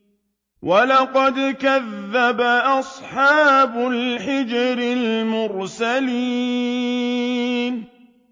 وَلَقَدْ كَذَّبَ أَصْحَابُ الْحِجْرِ الْمُرْسَلِينَ